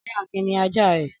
Ọ̀rẹ́ Akin ní ajá rẹ̀.